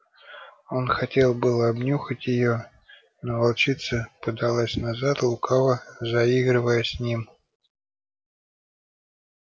он хотел было обнюхать её но волчица подалась назад лукаво заигрывая с ним